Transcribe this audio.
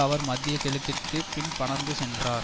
அவர் மத்திய கிழக்கிற்கு பின் பறந்து சென்றார்